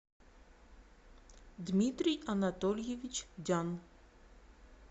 дмитрий анатольевич дян